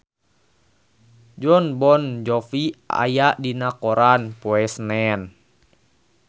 Jon Bon Jovi aya dina koran poe Senen